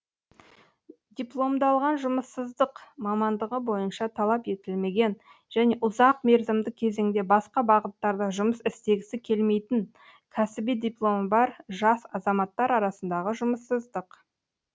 дипломдалған жұмыссыздық мамандығы бойынша талап етілмеген және ұзақ мерзімді кезеңде басқа бағыттарда жұмыс істегісі келмейтін кәсіби дипломы бар жас азаматтар арасындағы жұмыссыздық